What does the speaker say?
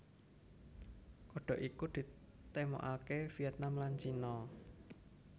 Kodhog iki ditemokake Vietnam lan Cina